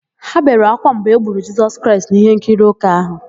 Ha bere ákwá mgbe e gburu Jisọs Kraịst n'íhénkiri ụka áhụ̀.